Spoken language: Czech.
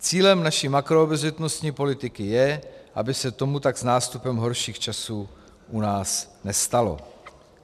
Cílem naší makroobezřetnostní politiky je, aby se tomu tak s nástupem horších časů u nás nestalo.